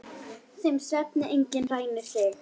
Þeim svefni enginn rænir þig.